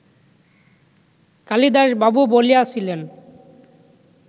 কালিদাসবাবু বলিয়াছিলেন